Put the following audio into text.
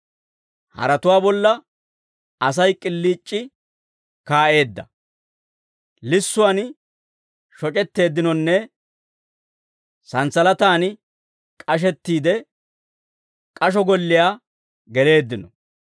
Haratuwaa bolla Asay k'iliic'i kaa'eedda; lissuwaan shoc'etteeddinonne santsalataan k'ashettiide, k'asho golliyaa geleeddino.